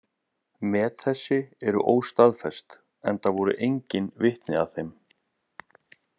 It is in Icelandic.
Met þessi eru óstaðfest, enda voru engin vitni að þeim.